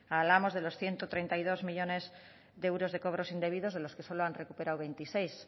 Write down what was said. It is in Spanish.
hablamos de los ciento treinta y dos millónes de euros de cobros indebidos de los que solo han recuperado veintiséis